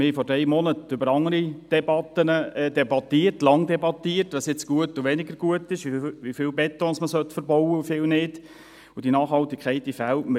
Vor drei Monaten führten wir andere Debatten, debattierten lange darüber, was nun gut und was weniger gut ist, wie viel Beton man verbauen sollte und wie viel nicht, und diese Nachhaltigkeit fehlt mir.